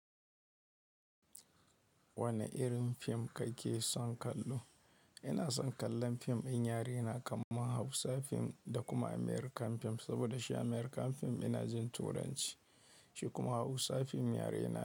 Wane irin fim kake son kallo? Ina son kallon fim din yare na kamar Hausa fim da kuma American fim. Saboda shi American fim ina jin Turanci, shi kuma Hausa fim yare na.